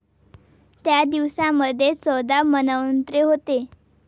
त्या दिवसामध्ये चौदा मन्वंतरे होतात.